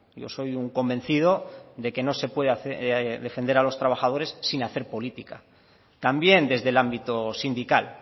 yo soy un convencido de que no se puede defender a los trabajadores sin hacer política también desde el ámbito sindical